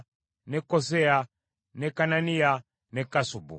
ne Koseya, ne Kananiya, ne Kassubu,